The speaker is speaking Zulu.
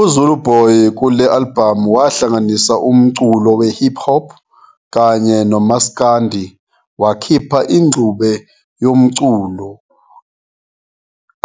UZuluboy kule alibhamu wahlanganisa umculo we-hip-hop kanye nomsakndi wakhipha ingxube yomculo